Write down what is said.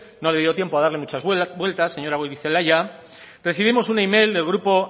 no le dio tiempo a darle muchas vueltas señora goirizelaia recibimos un email del grupo